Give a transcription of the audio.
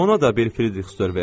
Ona da bir frixdır ver.